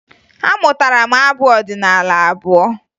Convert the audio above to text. Amụtara m abụ ọdịnaala abụọ